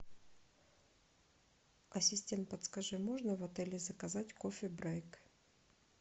ассистент подскажи можно в отеле заказать кофе брейк